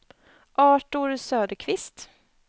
Artur Söderqvist